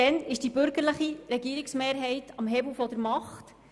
Seit damals ist die bürgerliche Regierungsmehrheit am Hebel der Macht.